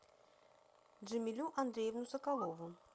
джамилю андреевну соколову